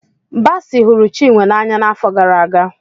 Basi hụrụ Chinwe n'anya n'afọ gara aga.